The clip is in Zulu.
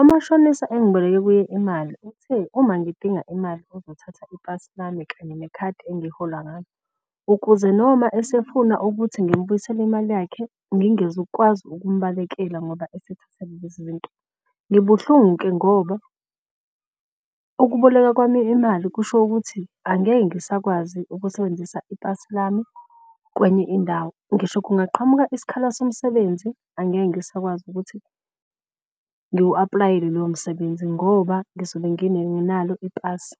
Umashonisa engiboleke kuye imali uthe uma ngidinga imali uzothatha ipasi lami kanye nekhadi engihola ngalo. Ukuze noma esefuna ukuthi ngimbuyisele imali yakhe ngingezukukwazi ukumbalekela ngoba esethathe lezi izinto. Ngibuhlungu-ke ngoba ukuboleka kwami imali kusho ukuthi angeke ngisakwazi ukusebenzisa ipasi lami kwenye indawo. Ngisho kungaqhamuka isikhala somsebenzi angeke ngisakwazi ukuthi ngiwu-aplayele lowo msebenzi ngoba ngizobe ngingenalo ipasi.